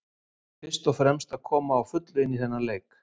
Fyrst og fremst að koma á fullu inn í þennan leik.